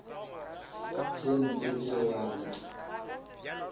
tše mpe tšeo a di